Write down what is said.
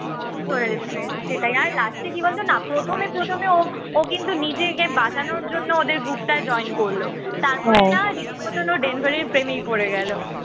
চলে যেতে পেরেছে সেটাই আর last এ কি বলতো না প্রথমে প্রথমে ও ও কিন্তু নিজেকে বাঁচানোর জন্য ওদের group টায় join করল তারপর না রীতিমতো ও ডেনভারের প্রেমেই পড়ে গেল